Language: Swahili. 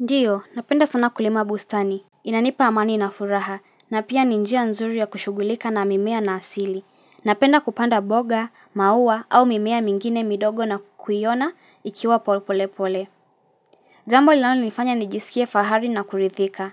Ndiyo, napenda sana kulima bustani. Inanipa amani na furaha, na pia ni njia nzuri ya kushughulika na mimea na asili. Napenda kupanda mboga, maua au mimea mingine midogo na kukuiona ikiwa polepole. Jambo linalonifanya nijisikie fahari na kurithika.